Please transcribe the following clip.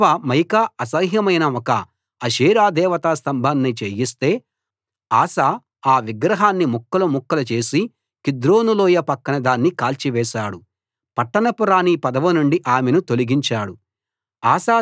తన అవ్వ మయకా అసహ్యమైన ఒక అషేరా దేవతా స్తంభాన్ని చేయిస్తే ఆసా ఆ విగ్రహాన్ని ముక్కలు ముక్కలు చేసి కిద్రోను లోయ పక్కన దాన్ని కాల్చివేశాడు పట్టపు రాణి పదవి నుండి ఆమెను తొలగించాడు